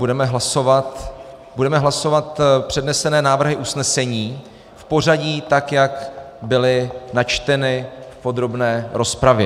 Budeme hlasovat přednesené návrhy usnesení v pořadí tak, jak byly načteny v podrobné rozpravě.